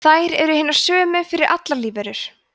þær eru hinar sömu fyrir allar lífverur